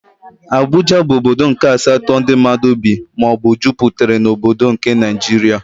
Abuja bụ ọbọdọ nke asatọ ndị mmadụ bị maọbu juputere n'obodo nke Naijiria.